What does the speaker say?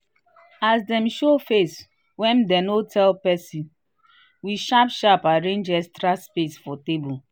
as dem show face wen dem no tell pesin we sharp sharp arrange extra space for table.